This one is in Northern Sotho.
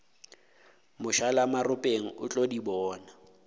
mošalamaropeng o tlo di bona